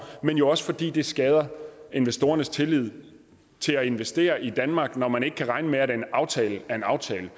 men jo også fordi det skader investorernes tillid til at investere i danmark når man ikke kan regne med at en aftale er en aftale